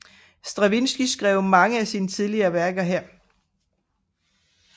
Stravinskij skrev mange af sine tidlige værker her